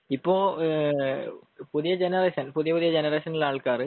ഇപ്പൊ ഏഹ് പുതിയ ജനെറേഷൻ പുതിയ പുതിയ ജനറേഷനിൽ ഉള്ള ആള്കാര്